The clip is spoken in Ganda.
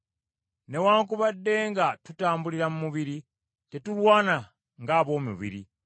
Newaakubadde nga tutambulira mu mubiri, tetulwana ng’ab’omubiri,